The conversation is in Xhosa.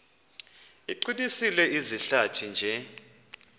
iqinise izihlathi nje